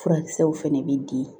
Furakisɛw fana bɛ di